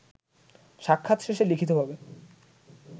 সাক্ষাৎ শেষে লিখিতভাবে